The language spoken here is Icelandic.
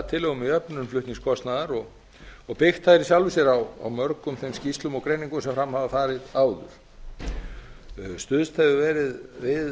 tillögum um jöfnun flutningskostnaðar og byggt þær í sjálfu sér á mörgum þeim skýrslum og greiningum sem fram hafa farið áður stuðst hefur verið við